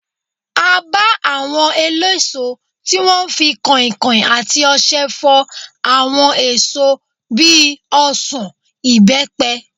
A bá àwọn eléso tí wọ́n ń fi kankan àti ọṣẹ fọ àwọn èso bíi ọsan, ibepe.